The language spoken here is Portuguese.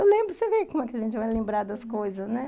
Eu lembro, você vê como a gente vai lembrar das coisas, né?